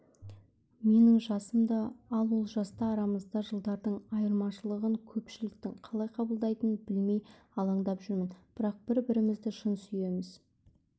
менің жасым да ал ол жаста арамызда жылдардың айырмашылығын көпшіліктің қалай қабылдайтынын білмей алаңдап жүрмін бірақ бір-бірімізді шын сүйеміз